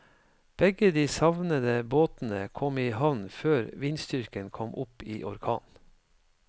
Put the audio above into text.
Begge de savnede båtene kom i havn før vindstyrken kom opp i orkan.